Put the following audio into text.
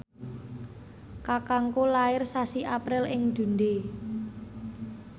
kakangku lair sasi April ing Dundee